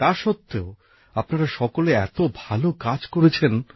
তা সত্ত্বেও আপনারা সকলে এত ভাল কাজ করেছেন